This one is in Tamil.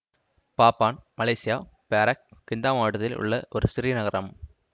பாப்பான் மலேசியா பேராக் கிந்தாமாவட்டத்தில் உள்ள ஒரு சிறிய நகரம்